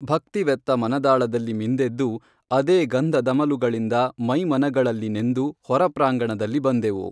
ಭಕ್ತಿವೆತ್ತ ಮನದಾಳದಲ್ಲಿ ಮಿಂದೆದ್ದು, ಅದೇ ಗಂಧದಮಲುಗಳಿಂದ ಮೈಮನಗಳಲ್ಲಿ ನೆಂದು, ಹೊರಪ್ರಾಂಗಣದಲ್ಲಿ ಬಂದೆವು.